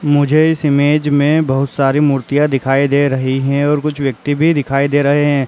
मुझे इस इमेज में बहुत सारी मूर्तियां दिखाई दे रही हैं और कुछ व्यक्ति भी दिखाई दे रहे हैं।